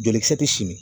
Jolikisɛ ti simi